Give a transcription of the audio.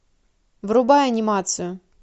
врубай анимацию